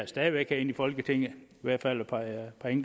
stadig væk herinde i folketinget i hvert fald et par